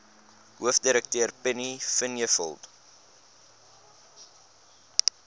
hoofdirekteur penny vinjevold